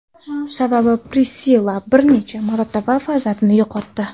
Sababi Prissilla bir necha marotaba farzandini yo‘qotdi.